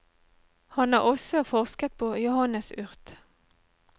Han har også forsket på johannesurt.